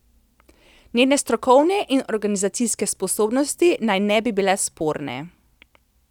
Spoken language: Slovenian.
Njene strokovne in organizacijske sposobnosti naj ne bi bile sporne.